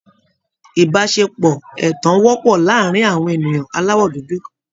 Ìbáṣepọ̀ ẹ̀tàn wọ́pọ̀ láàárín àwọn ènìyàn aláwọ̀ dúdú